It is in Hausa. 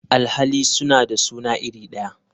Alhali suna da suna iri daya.